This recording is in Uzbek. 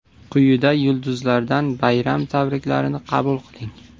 Quyida yulduzlardan bayram tabriklarini qabul qiling.